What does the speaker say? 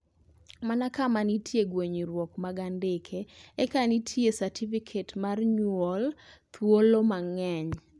mana ka nitie egwenyuok mag andike eka nitiel satifiket mar nyuol thuolo mangeny